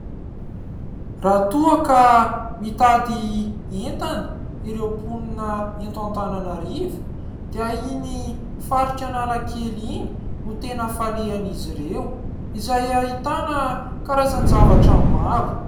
Raha toa ka mitady entana ireo mponina eto Antananarivo dia iny faritra Analakely iny no tena falehan'izy ireo ; izay ahitana karazan-javatra maro.